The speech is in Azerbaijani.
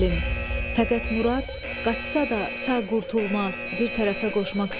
Fəqət Murad, qaçsa da sağ qurtulmaz!